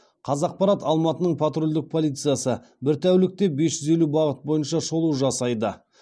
қазақпарат алматының патрульдік полициясы бір тәулікте бес жүз елу бағыт бойынша шолу жасайды